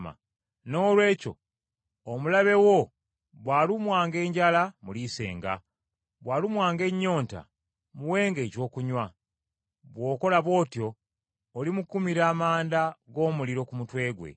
“Noolwekyo omulabe wo bw’alumwanga enjala, muliisenga; bw’alumwanga ennyonta muwenga ekyokunywa, bw’okola bw’otyo olimukumira amanda g’omuliro ku mutwe gwe.”